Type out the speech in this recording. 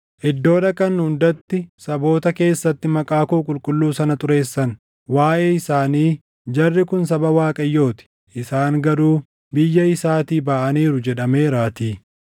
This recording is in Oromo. Iddoo dhaqan hundatti saboota keessatti maqaa koo qulqulluu sana xureessan; waaʼee isaanii, ‘Jarri kun saba Waaqayyoo ti; isaan garuu biyya isaatii baʼaniiru’ jedhameeraatii.